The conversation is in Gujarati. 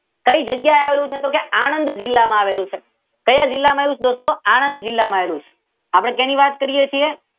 કઈ જગ્યાએ આવેલું છે કે આનંદ જીલ્લામાં આવેલું છે. ક્યાં જીલ્લામાં આવેલું છે દોસ્તો? આનંદ જીલ્લામાં આવેલું છે.